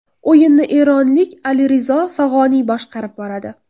O‘yinni eronlik Alirizo Fag‘oniy boshqarib boradi.